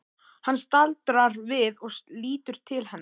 Hann staldrar við og lítur til hennar.